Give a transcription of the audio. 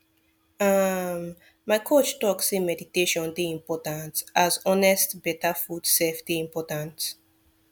um my coach talk say meditation dey important as honest better food sef dey important